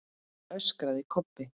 öskraði Kobbi.